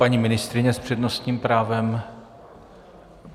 Paní ministryně s přednostním právem.